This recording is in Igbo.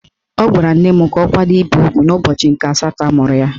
Ọ gwara nne m ka ọ kwado ibe ugwu n'ụbọchị nke asatọ amụrụ ya.